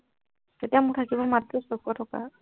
তেতিয়া মোৰ থাকিব মাত্ৰ ছশ টকা